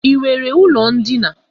I nwere ụlọ ndina?